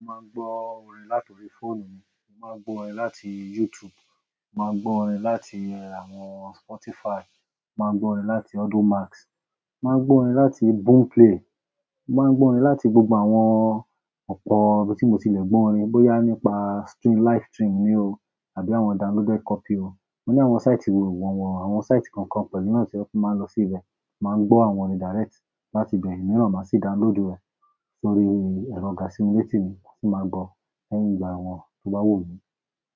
Mo máa ń gbọ orin láti orí fóònù mi, mo máa ń gbọ orin láti YouTube, mo máa ń gbọ orin láti àwọn Spotify, mo máa ń gbọ orin láti Audimacks, mo máa ń gbọ orin láti Boomplay, mo máa ń gbọ orin láti gbogbo àwọn ọ̀pọ̀ ibi tí mo ti lè gbọ orin bóyá nípa stream, live stream ni o àbí àwọn downloaded copy o. Mo ní àwọn site wọ̀nwọ̀n, àwọn site kankan pẹ̀lú náà tí tun máa ń lọ sí ibẹ̀ máa ń gbọ àwọn orin direct láti ibẹ̀ iyẹn máa sì download rẹ̀ sórí èrò ga simileto mi máa sì máa gbọ ẹ́ nígbà àwọn tó bá wù mí.